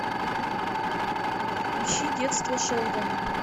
ищи детство шелдона